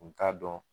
U t'a dɔn